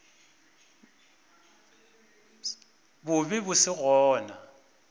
bo be bo se gona